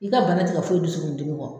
I ka bana ti ka foyi dusukun dimi kɔ.